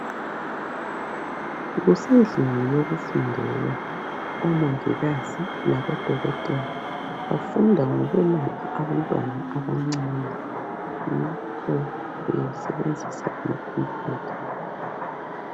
Kusendlini yokufundela omongikazi labodokotela bafunda ngokwelapha abantwana abancane yikho besebenzisa ikhomphutha.